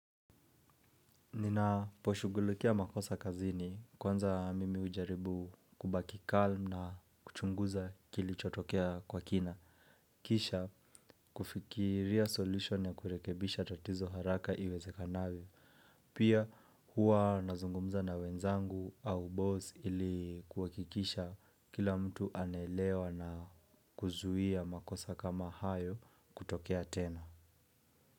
Ninaposhugulukia makosa kazini, kwanza mimi hujaribu kubaki mtulivu na kuchunguza kilichotokea kwa kina. Kisha kufikiria jawabu ya kurekebisha tatizo haraka iwezekanavyo. Pia huwa nazungumza na wenzangu au bosi ili kuhakikisha kila mtu anaelewa na kuzuhia makosa kama hayo kutokea tena.